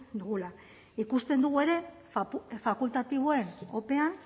dugula ikusten dugu ere fakultatiboen opean